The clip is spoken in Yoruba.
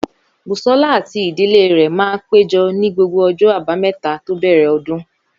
Bùsọ́lá àti ìdílé rẹ̀ máa péjọ ní gbogbo ọjọ́ àbámẹ́ta tó bẹ̀rẹ̀ ọdún